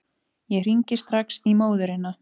Ég hringi strax í móðurina.